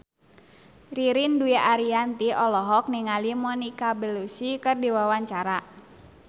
Ririn Dwi Ariyanti olohok ningali Monica Belluci keur diwawancara